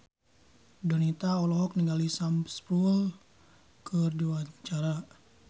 Donita olohok ningali Sam Spruell keur diwawancara